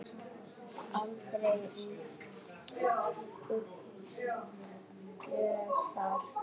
Aldrei ríkti uppgjöf þar.